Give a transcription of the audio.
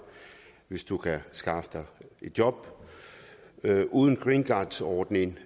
hvis du kan skaffe dig et job uden greencardordningen